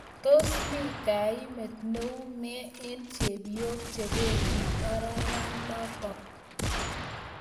Tos mii kaimeet neumee eng chepyoook chebemdi ararainatok.